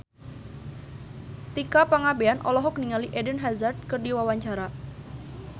Tika Pangabean olohok ningali Eden Hazard keur diwawancara